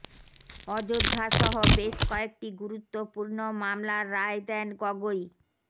অযোধ্যা সহ বেশ কয়েকটি গুরুত্বপূর্ণ মামলার রায় দেন গগৈ